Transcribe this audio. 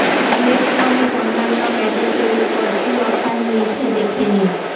electronic অন্যান্য গ্যাজেটের ওপর কী কী অফার মিলছে দেখে নিন